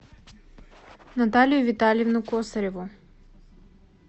наталью витальевну косареву